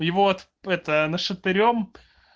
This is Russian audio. и вот это нашатырём